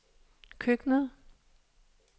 køkkenet